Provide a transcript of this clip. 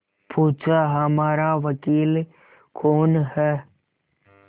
पूछाहमारा वकील कौन है